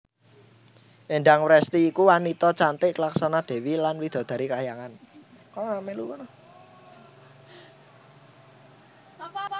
Endang Wresti iku wanita cantik laksana dewi lan widadari kahyangan